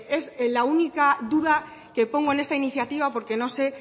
es la única duda que pongo en esta iniciativa porque no sé